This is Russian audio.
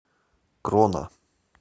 крона